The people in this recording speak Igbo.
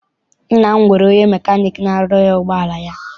Nna m nwere onye mecanic n'arụrụ ya ụgbọala ya.